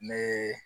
N bɛ